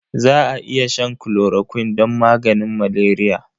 Za a iya shan chloroquine don maganin maleriya.